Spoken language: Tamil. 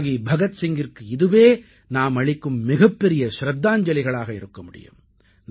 தியாகி பகத் சிங்கிற்கு இதுவே நாம் அளிக்கும் மிகப்பெரிய சிரத்தாஞ்சலிகளாக இருக்க முடியும்